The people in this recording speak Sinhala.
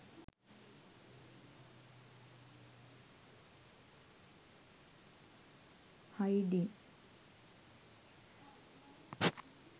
hidden